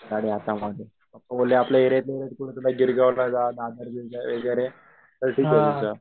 गाडी हातामध्ये, पप्पा बोलले आपल्या एरिया वगैरे